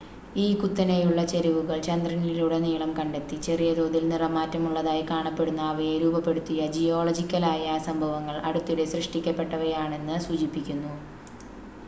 ഈ കുത്തനെയുള്ള ചെരിവുകൾ ചന്ദ്രനിലുടനീളം കണ്ടെത്തി ചെറിയ തോതിൽ നിറംമാറ്റമുള്ളതായി കാണപ്പെടുന്ന അവയെ രൂപപ്പെടുത്തിയ ജിയോളജിക്കലായ സംഭവങ്ങൾ അടുത്തിടെ സൃഷ്ടിക്കപ്പെട്ടവയാണെന്ന് സൂചിപ്പിക്കുന്നു